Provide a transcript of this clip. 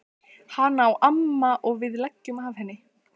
Hana á amma og við leigjum af henni.